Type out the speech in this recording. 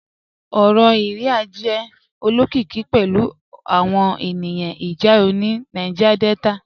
Ọrọ Iría jẹ̀ olokikì pẹ̀lu awọn ènìyàn ìjáw ni Niger Delta